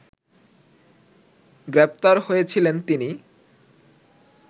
গ্রেপ্তার হয়েছিলেন তিনি